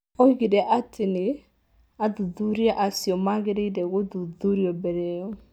Oigire atĩ tĩ athuthuria acio maagĩrĩire gũthuthurio mbere io.